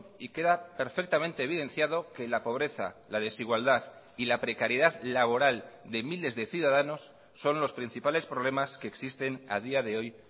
y queda perfectamente evidenciado que la pobreza la desigualdad y la precariedad laboral de miles de ciudadanos son los principales problemas que existen a día de hoy